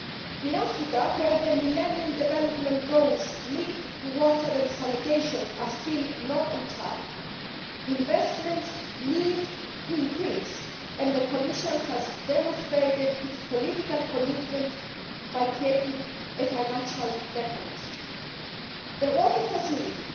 In Africa, where the Millennium Development Goals linked to water and sanitation are still not on track, investments need to increase, and the Commission has demonstrated its political commitment by creating a financial mechanism. The Water Facility